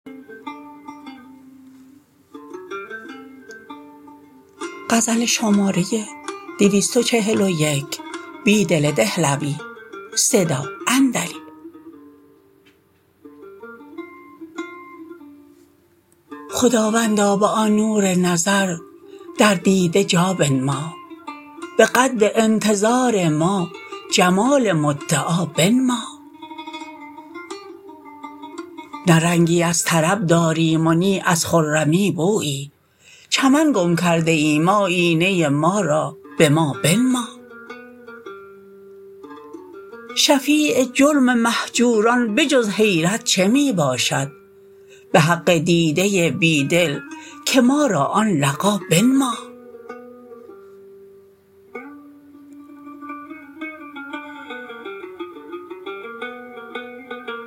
خداوندا به آن نور نظر در دیده جا بنما به قدر انتظار ما جمال مدعا بنما نه رنگی از طرب داریم و نی از خرمی بویی چمن گم کرده ایم آیینه ما را به ما بنما شفیع جرم مهجوران به جز حیرت چه می باشد به حق دیده بیدل که ما را آن لقا بنما